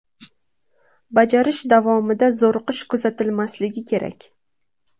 Bajarish davomida zo‘riqish kuzatilmasligi kerak.